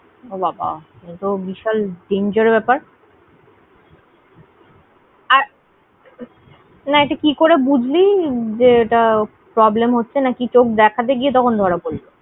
ওবাবা, এতো বিশাল danger ব্যাপার। না ওটা কি করে বুঝলে ওটা problem হচ্ছে নাকি চোখ দেখতে গিয়ে তখন ধরা পড়লো?